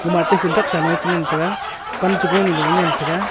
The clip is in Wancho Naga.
mate phunthak sanoe ngan taiga pan chego loe ngan taiga.